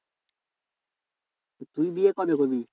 তুই বিয়ে কবে করবি?